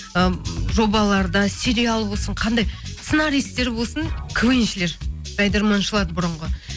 ы жобаларда сериал болсын қандай сценаристтер болсын квн шілер жайдарманшылар бұрынғы